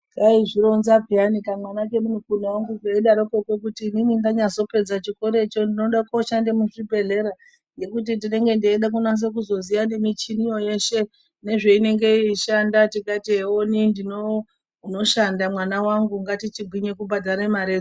Kaizvironza peyani kamwana kumukuna wangu keidarokwo kwo kuti inini ndanyazopedza chikoracho ndinoda kushanda muzvibhendlera. Ngekuti ndinenge ndeida kunasa kuzoziya nemichini yo yeshe nezvainenge yeishanda. Tikati ewoni ndino unoshanda mwana wangu ngatichigwinya kubhadhara mare dzo.